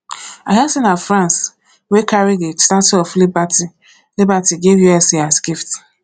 i hear say na france wey carry the statue of liberty liberty give usa as gift